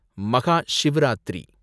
Mahashivratri